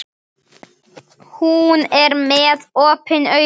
Hún er með opin augun.